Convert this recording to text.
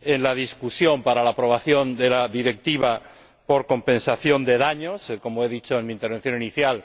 en el debate sobre la aprobación de la propuesta de Directiva relativa a las demandas por daños, como he dicho en mi intervención inicial